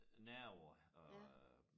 Nerver og